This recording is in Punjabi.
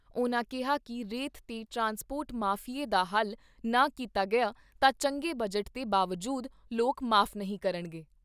ਉਨ੍ਹਾਂ ਕਿਹਾ ਕਿ ਰੇਤ ਤੇ ਟਰਾਂਸਪੋਰਟ ਮਾਫ਼ੀਏ ਦਾ ਹੱਲ ਨਾ ਕੀਤਾ ਗਿਆ ਤਾਂ ਚੰਗੇ ਬਜਟ ਦੇ ਬਾਵਜੂਦ ਲੋਕ ਮਾਫ਼ ਨਹੀਂ ਕਰਨਗੇ।